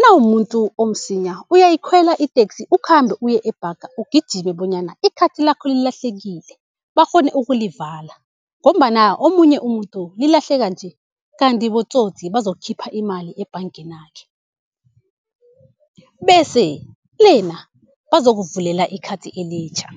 nawumumuntu omsinya uyayikhwela iteksi ukhambe uye ebhanga ugijime bonyana ikhathi lakho lilahlekile bakghone ukulivala ngombana omunye umuntu lilahleka nje kanti botsotsi bazokukhipha imali ebhangenakhe. Bese lena bazokuvulela ikhathi elitjha.